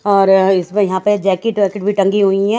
और इसमें यहाँ पे जैकेट वकेट भी टंगी हुई है।